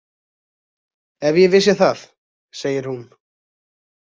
Ef ég vissi það, segir hún.